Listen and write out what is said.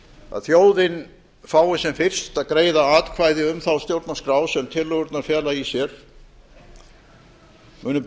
að þjóðin fái sem fyrst að greiða atkvæði um þá stjórnarskrá sem tillögurnar fela í sér munu